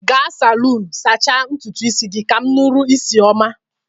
Ga salunu sacha ntụtụ isi gi kam nụrụ isi ọma!